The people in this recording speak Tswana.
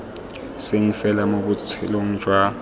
seng fela mo botshelong jwa